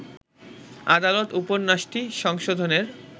আদালত উপন্যাসটি সংশোধনের